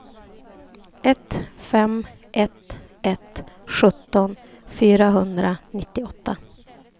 ett fem ett ett sjutton fyrahundranittioåtta